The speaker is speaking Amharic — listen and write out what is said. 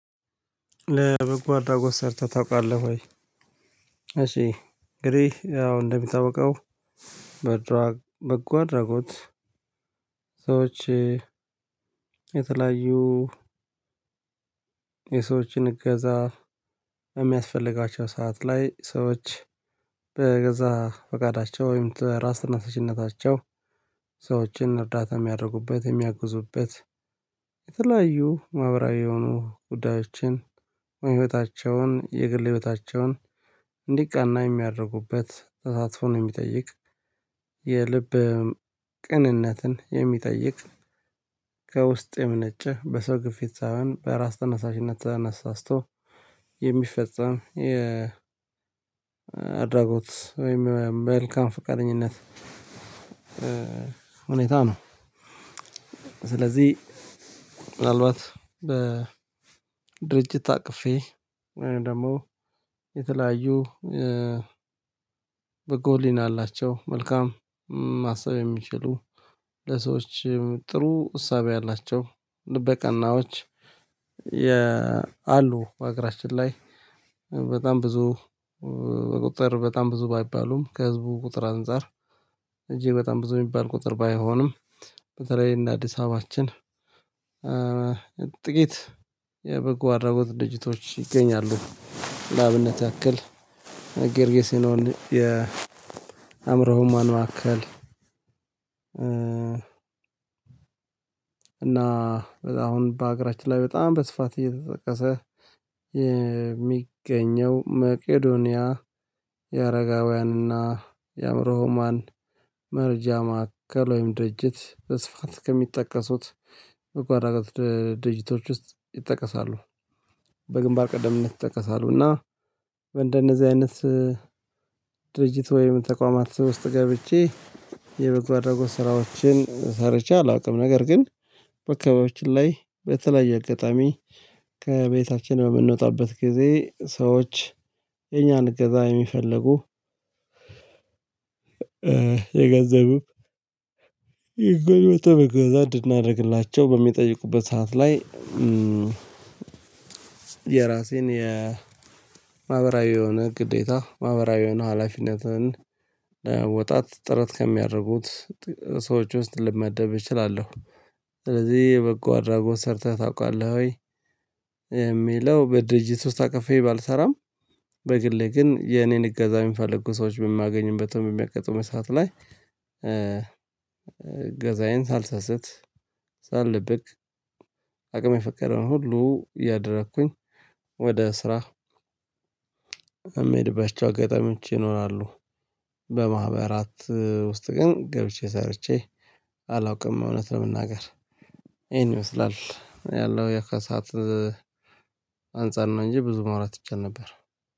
ለበጎ አድራጎት ሰርተህ ታውቃለህ ወይ? እሺ እንግዲህ አዎ እንደምታውቀው በጎ አድርጎት ሰዎች የተለያዩ የሰዎችን እገዛ የሚያስፈልጋቸው ሰዓት ላይ ሰዎች በገዛ ፈቃዳቸው ወይም ራስ ተነሳሽነታቸው ሰዎችን እርዳታ የሚያደርጉበት የሚያግዙበት የተለያዩ ማህበራዊ የሆኑ ጉዳዮችን የህይወታቸውን የግል ህይወታቸውን እንዲቀና የሚያደርጉበት ተሳትፎን የሚጠይቅ የልብ ቅንነትን የሚጠይቅ ከውስጥ የምነጨ በሰው ግፊት ሳይሆን በራስ ተነሳሽነት ተነሳስቶ የሚፈጸም የአድራጎት ወይም መልካም ፍቃደኝነት ሁኔታ ነው። ስለዚህ ምናልባት በድርጅት ታቅፌ ወይም ደግሞ የተለያዩ በጎ ህሊና የአላቸው መልካም ማሰብ የሚችሉ ለሰዎች ጥሩ እሳቤ የአላቸው ልበ ልበቀናዎች የ አሉ አገራችን ላይ በጣም ብዙ ቁጥር በጣም ብዙ ባይባሉም ከህዝቡ ቁጥር አንፃር እጅግ በጣም ብዙ የሚባል ቁጥር ባይሆንም በተለይ እንደ አዲስ አበባችን ጥቂት የበጎ አድራጎት ደርጅቶች ይገኛሉ። ለአብነት ያክል ገርጌሲኖን የአእምሮ ህሙማን ማከል እና አሁን በአገራችን ላይ በጣም በስፋት እየተጠቀሰ የሚገኘው መቄዶንያ የአረጋውያን እና የአእምሮ ህሙማን መርጃ ማዕከል ወይም ድርጅት በስፋት ከሚጠቀሱት በጎ አድራጎት ድርጅቶች ውስጥ ይጠቀሳሉ። በግንባር ቀደምነት ይጠቀሳሉ። እና እንደነዚህ አይነት ድርጅት ወይም ተቋማት ውስጥ ገብቼ የበጎ አድርጎት ስራዎችን ሰርቼ አላውቅም። ነገር ግን በአካባቢያች ላይ በተለያየ አጋጣሚ ከቤታችን በምንወጣበት ጊዜ ሰዎች የኛን እገዛ የሚፈልጉ የገንዘብም የጉልበትም እገዛ እንድናደርግላቸው በሚጠይቁበት ሰዓት ላይ። የራሴን የማህበራዊ የሆነ ግዴታ ማህበራዊ የሆነ ሀላፊነትን ለመወጣት ጥረት ከሚያደርጉት ሰዎች ውስጥ ልመደብ እችላለሁ። ስለዚህ የበጎ አድራጎት ሰርተህ ታውቃለህ ወይ? የሚለው በድርጅት ውስጥ አቅፌ ባልሰራም። በግሌ ግን የኔን እገዛ የሚፈልጉ ሰዎች በማገኝበትም በሚያቀጥመኝ ሰዓት ላይ እገዛዬን ሳልሰስት ሳልደብቅ አቅም የፈቀደውን ሁሉ ያደረኩኝ ወደ ስራ የምሄድባቸው አገጠምች ይኖራሉ። በማህበራት ውስጥ ግን ገብቼ ሰርቼ አላውቅም። እውነት ነው የምናገር ይሄን ይመስላል ያለው የከሳት አንፃር ነው እንጂ ብዙ ማውራት ይቻል ነበር